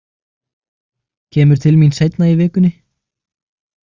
Kemur til mín seinna í vikunni.